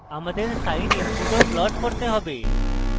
আমাদের sine input ও plot করতে have